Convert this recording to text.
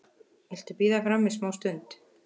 Viltu bíða frammi smástund?